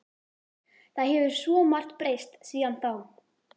Það hefur svo margt breyst síðan þá.